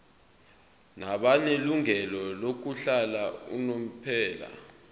nabanelungelo lokuhlala unomphela